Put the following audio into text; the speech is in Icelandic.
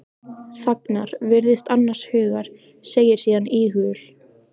Þagnar, virðist annars hugar, segir síðan íhugul